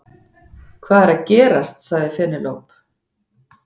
Hvað er að gerast sagði Penélope.